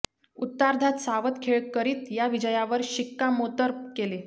उत्तरार्धात सावध खेळ करीत या विजयावर शिक्कामोर्तब केले